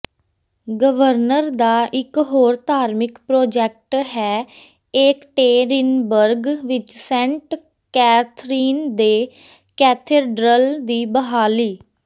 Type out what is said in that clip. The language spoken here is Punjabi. ਗਵਰਨਰ ਦਾ ਇੱਕ ਹੋਰ ਧਾਰਮਿਕ ਪ੍ਰੋਜੈਕਟ ਹੈ ਏਕਟੇਰਿਨਬਰਗ ਵਿੱਚ ਸੈਂਟ ਕੈਥਰੀਨ ਦੇ ਕੈਥੇਡ੍ਰਲ ਦੀ ਬਹਾਲੀ